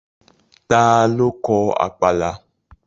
Ta ló kọ Àpàlà?